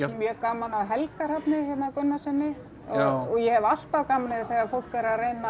mjög gaman af Helga Hrafni hérna Gunnarssyni og ég hef alltaf gaman af því þegar fólk er að reyna